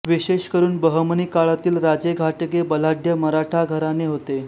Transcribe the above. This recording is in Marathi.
विशेष करून बहमनी काळातील राजेघाटगे बलाढ्य मराठा घराणे होते